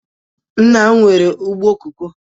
Nna m nwere ugbo koko